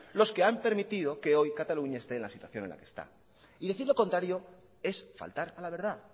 los que han permitido que hoy cataluña esté en la situación en la que está y decir lo contrario es faltar a la verdad